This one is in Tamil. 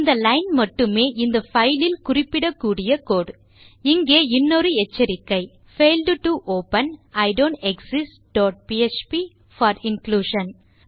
இந்த லைன் மட்டுமே இந்த பைல் லில் குறிப்பிடக்கூடிய கோடு இங்கு இன்னொரு எச்சரிக்கை failed to open i don't exist dot PHP for inclusion